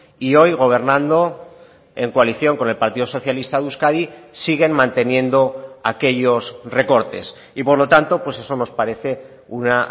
y hoy gobernando en coalición con el partido socialista de euskadi siguen manteniendo aquellos recortes y por lo tanto pues eso nos parece una